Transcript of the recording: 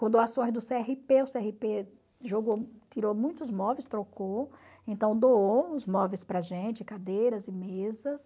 Com doações do cê erre pê, o cê erre pê jogou, tirou muitos móveis, trocou, então doou uns móveis para a gente, cadeiras e mesas.